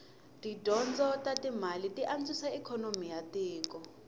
tidyondzo tatimale tianswisa ikonomi yatiko